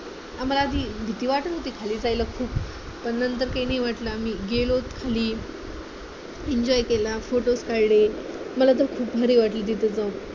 आम्हाला आधी भीती वाटत होती खाली जायला खूप पण नंतर काही नाही वाटलं आम्ही गेलोत खाली enjoy केला photos काढले मला तर खूप भारी वाटलं तिथे जाऊन